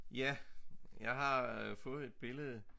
Ja jeg har øh fået et billede